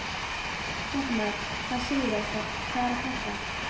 Fréttamaður: Hvað segirðu Óskar, hvað er að frétta?